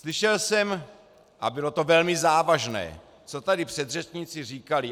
Slyšel jsem - a bylo to velmi závažné - co tady předřečníci říkali.